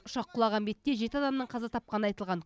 ұшақ құлаған бетте жеті адамның қаза тапқаны айтылған